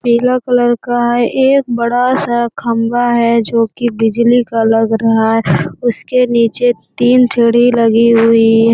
पीला कलर का है एक बड़ा सा खम्बा है जो की बिजली का लग रहा है उसके नीचे तीन सीढ़ी लगी हुई है।